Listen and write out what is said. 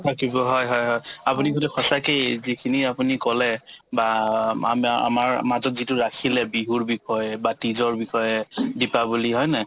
থাকিব হয় হয় হয় আপুনি যদি সঁচাকে এই যিখিনি আপুনি ক'লে বা আমা ~ আমাৰ মাজত যিটো ৰাখিলে বিহুৰ বিষয়ে বা তিজৰ বিষয়ে দিপাৱলী হয়নে নহয়